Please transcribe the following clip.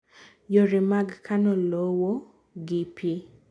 Yore mag kano lowo gi pii.